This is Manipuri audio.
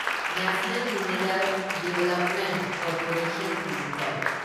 national Mineral Development Corporation limited